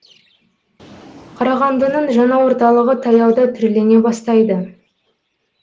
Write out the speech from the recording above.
қарағандының жаңа орталығы таяуда түрлене бастайды